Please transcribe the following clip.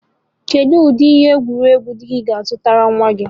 Kedu ụdị egwuregwu di gị ga-azụrụ nwa gị?